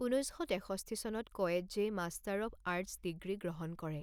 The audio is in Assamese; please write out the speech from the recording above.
ঊনৈছ শ তেষষ্ঠি চনত কয়েৎজেই মাষ্টাৰ অৱ আৰ্টছ ডিগ্ৰী গ্ৰহণ কৰে।